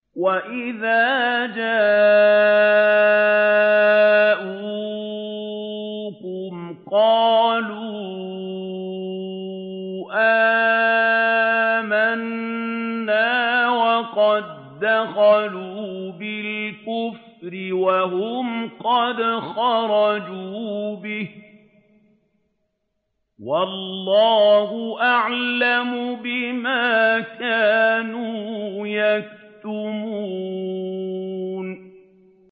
وَإِذَا جَاءُوكُمْ قَالُوا آمَنَّا وَقَد دَّخَلُوا بِالْكُفْرِ وَهُمْ قَدْ خَرَجُوا بِهِ ۚ وَاللَّهُ أَعْلَمُ بِمَا كَانُوا يَكْتُمُونَ